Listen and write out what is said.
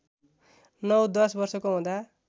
नौ दश वर्षको हुँदा